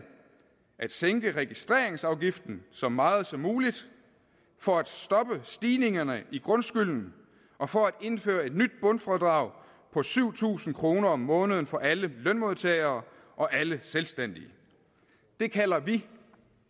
at sænke registreringsafgiften så meget som muligt for at stoppe stigningerne i grundskylden og for at indføre et nyt bundfradrag på syv tusind kroner om måneden for alle lønmodtagere og alle selvstændige det kalder vi